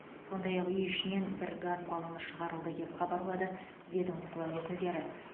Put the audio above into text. сондай ақ үй ішінен бір газ баллоны шығарылды деп хабарлады ведомство өкілдері